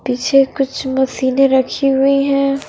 पीछे कुछ मशीने रखी हुई है।